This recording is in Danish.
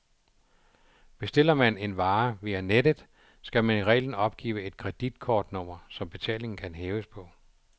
Bestiller man en vare via nettet, skal man i reglen opgive et kreditkortnummer, som betalingen kan hæves på.